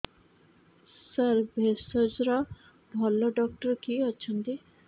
ସାର ଭେଷଜର ଭଲ ଡକ୍ଟର କିଏ ଅଛନ୍ତି